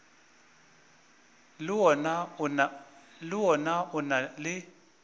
le wona o na le